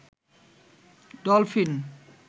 dolphin